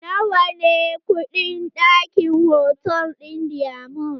Nawa ne kuɗin ɗaki a hotal ɗin diamond?